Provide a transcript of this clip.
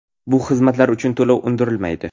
Bu xizmatlar uchun to‘lov undirilmaydi.